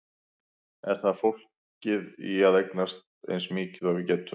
Er það fólgið í að eignast eins mikið og við getum?